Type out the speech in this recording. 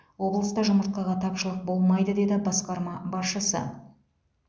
облыста жұмыртқаға тапшылық болмайды деді басқарма басшысы